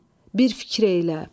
Bir fikir eylə.